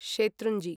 शेतृञ्जि